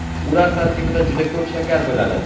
ular tarkibida juda ko‘p shakar bo‘ladi.